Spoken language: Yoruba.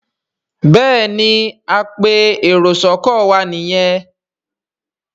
Béèni apẹ èrò sóko wá ní yén.